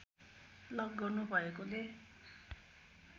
lock गर्नु भएकोले